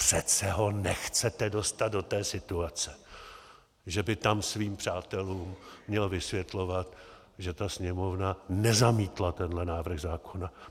Přece ho nechcete dostat do té situace, že by tam svým přátelům měl vysvětlovat, že ta Sněmovna nezamítla tenhle návrh zákona!